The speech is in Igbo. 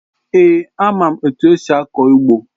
Èé, ama m etu esi akọ ugbo